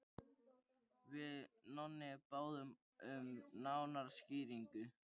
Við Nonni báðum um nánari skýringu.